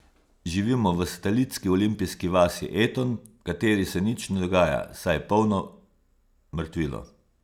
Živimo v satelitski olimpijski vasi Eton, v kateri se nič ne dogaja, saj je polno mrtvilo.